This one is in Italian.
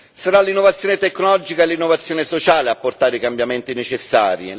Saranno l'innovazione tecnologica e l'innovazione sociale a portare i cambiamenti necessari.